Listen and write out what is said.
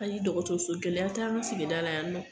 Ayi, dɔgɔtɔrɔso gɛlɛya t'an ka sigida la yan nɔ.